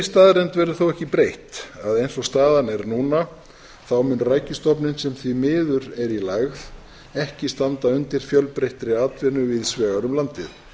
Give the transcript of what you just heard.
staðreynd verður þó ekki breytt að eins og staðan er núna mun rækjustofninn sem því miður er í lægð ekki standa undir fjölbreyttri atvinnu víðs vegar um landið